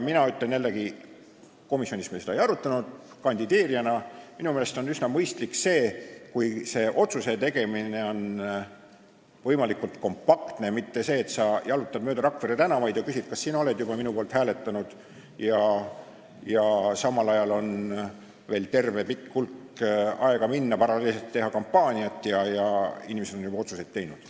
Ma ütlen jällegi kandideerijana , et minu meelest on üsna mõistlik see, kui see otsuse tegemine toimub võimalikult kompaktselt, mitte nii, et sa jalutad mööda Rakvere tänavaid ja küsid kõigilt, kas nad on juba sinu poolt hääletanud, ning samal ajal on veel hulk aega minna, paralleelselt on vaja teha kampaaniat, kuigi inimesed on juba oma otsuse teinud.